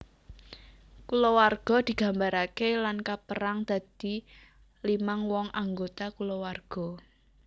Kulawarga digambaraké lan kapérang dadi limang wong anggota kulawarga